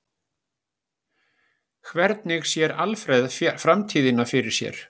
Hvernig sér Alfreð framtíðina fyrir sér?